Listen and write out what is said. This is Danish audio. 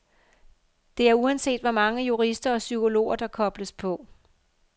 Det er uanset hvor mange jurister og psykologer, der kobles på.